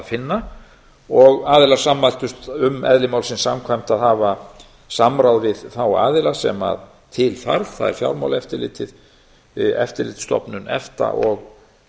finna og aðilar sammæltust um eðli málsins samkvæmt að hafa samráð við þá aðila sem til þarf það er fjármálaeftirlitið eftirlitsstofnun efta og